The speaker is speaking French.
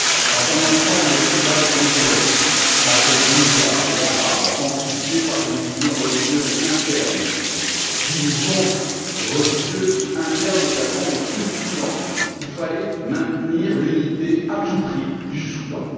Dans un ensemble tribal complexe entre Dinka et Arabes, amplifié par les divisions religieuses internes, divisions religieuses internes également au Soudan du Sud, il fallait maintenir à tout prix l'unité du Soudan.